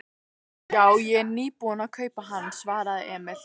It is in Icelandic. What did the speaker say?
Já, ég er nýbúinn að kaupa hann, svaraði Emil.